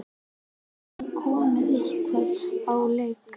Er það komið eitthvað á legg?